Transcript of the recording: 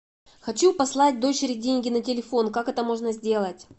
хочу послать дочери деньги на телефон как это можно сделать